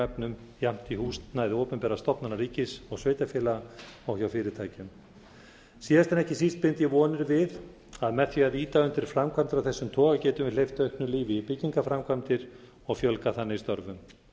efnum jafnt í húsnæði opinberra stofnana ríkis og sveitarfélaga og hjá fyrirtækjum síðast en ekki síst bind ég vonir við að með því að ýta undir framkvæmdir af þessum toga getum við hleypt auknu lífi í byggingarframkvæmdir og fjölgað þannig störfum